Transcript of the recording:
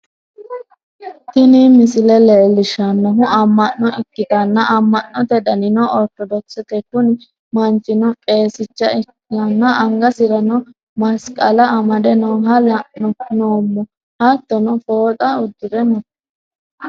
Tini misile leellishshannohu amma'no ikkitanna, amma'note danino orittodokisete, kuni manchino qeesicha ikkanna angasirano masiqala amade nooha la'anno noommo, hattono fooxa uddi're no.